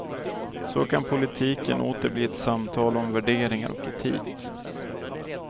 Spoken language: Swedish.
Så kan politiken åter bli ett samtal om värderingar och etik.